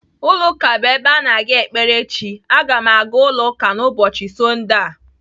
Ụlọ ụka bụ ebe a na-aga ekpere Chi. Aga m aga ụlọ ụka n'ụbọchị Sọndee a.